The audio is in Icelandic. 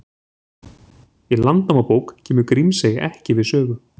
Í Landnámabók kemur Grímsey ekki við sögu.